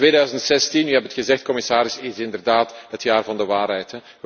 2016, u hebt het gezegd, commissaris, is inderdaad het jaar van de waarheid.